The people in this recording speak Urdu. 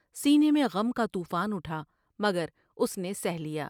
سینے میں غم کا طوفان اٹھا مگر اس نے سہہ لیا ۔